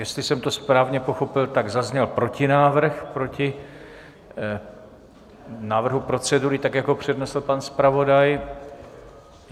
Jestli jsem to správně pochopil, tak zazněl protinávrh proti návrhu procedury, tak jak ho přednesl pan zpravodaj.